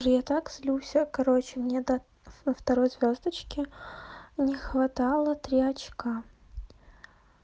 уже я так злюсь короче мне до второй звёздочки не хватало три очка